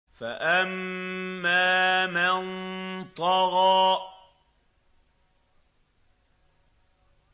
فَأَمَّا مَن طَغَىٰ